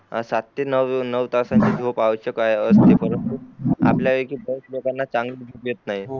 सात ते नऊ तासाची झोप आवश्यक आहे असते परंतु चांगली झोप येत नाही